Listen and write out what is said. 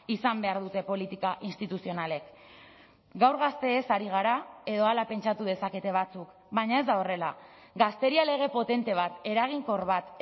izan behar dute politika instituzionalek gaur gazteez ari gara edo hala pentsatu dezakete batzuk baina ez da horrela gazteria lege potente bat eraginkor bat